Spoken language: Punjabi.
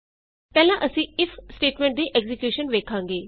ਪਹਿਲਾਂ ਅਸੀਂ ਇਫ ਸਟੇਟਮੈਂਟ ਦੀ ਐਕਜ਼ੀਕਿਯੂਸ਼ਨ ਵੇਖਾਂਗੇ